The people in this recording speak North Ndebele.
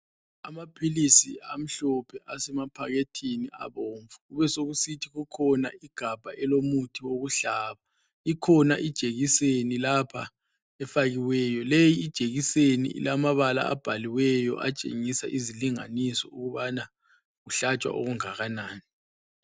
Amaphilisi amhlophe asemaphakethini abomvu, kubesokusithi kukhona igabha elomuthi wokuhlaba. Ikhona ijekiseni lapha efakiweyo. Leyi ijekiseni ilamabala abhaliweyo atshengisa izilinganiso ukubana kuhlatshwa okungakanani.